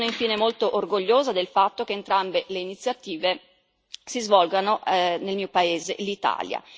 Sono infine molto orgogliosa del fatto che entrambe le iniziative si svolgono nel mio paese, l'Italia.